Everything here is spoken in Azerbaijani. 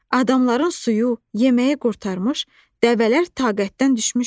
Adamların suyu, yeməyi qurtarmış, dəvələr taqətdən düşmüşdü.